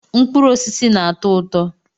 Mkpụrụ osisi na-atọ ụtọ.